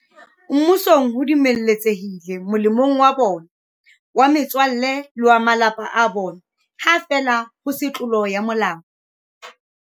Mmusong ho dumeletse hile molemong wa bona, wa metswalle le wa ba malapa a bona, ha feela ho se tlolo ya molao.